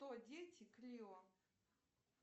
кто дети клио